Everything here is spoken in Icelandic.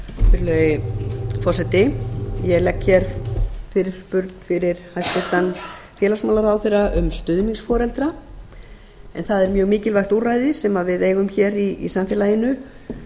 virðulegi forseti ég legg hér fyrirspurn fyrir hæstvirtan félagsmálaráðherra um stuðningsforeldra en það er mjög mikilvægt úrræði sem við eigum hér í samfélaginu